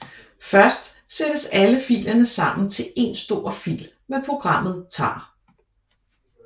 Først sættes alle filerne sammen til en stor fil med programmet tar